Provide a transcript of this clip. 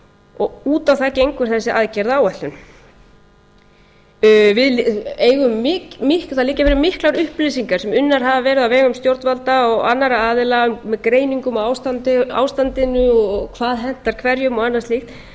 og út á það gengur þessi aðgerðaáætlun það liggja fyrir miklar upplýsingar sem unnar hafa verið á vegum stjórnvalda og annarra aðila um greiningar á ástandinu og hvað hentar hverjum og annað slíkt